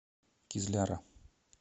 кизляра